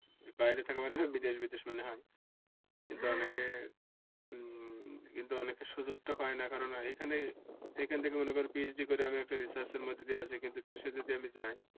বাইরে থাকা মানেই বিদেশ বিদেশ মনে হয়। কিন্তু অনেকে সুযোগ টা পায় না। এখান থেকে মনে করো PhD করে আমি একটা research মধ্যে দিয়ে আছি। কিন্তু দেশে যদি আমি যাই।